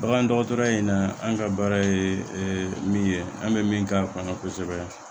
Bagan dɔgɔtɔrɔya in na an ka baara ye min ye an bɛ min k'a kɔnɔ kosɛbɛ